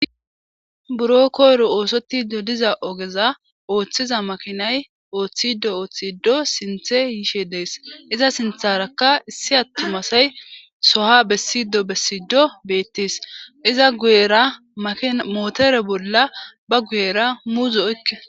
buro koyro oosotido diza ogeza ooththiza makinay ooththido ooththido sinthe yiishe dees iza sintharakka issi attumasay soha bessido bessido beettis iza guyera mootore bolla ba guyera muuzo oykke